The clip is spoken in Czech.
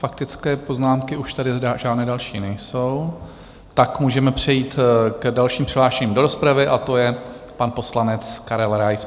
Faktické poznámky už tady žádné další nejsou, tak můžeme přejít k dalším přihlášeným do rozpravy, a to je pan poslanec Karel Rais.